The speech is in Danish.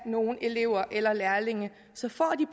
nogen elever eller lærlinge så får de